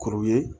Kuru ye